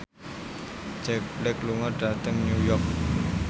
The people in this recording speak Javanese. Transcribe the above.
Jack Black lunga dhateng New York